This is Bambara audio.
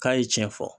K'a ye cɛn fɔ